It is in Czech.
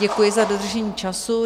Děkuji za dodržení času.